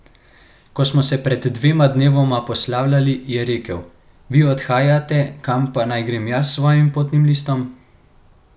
Ko smo se pred dvema dnevoma poslavljali, je rekel: 'Vi odhajate, kam pa naj grem jaz s svojim potnim listom?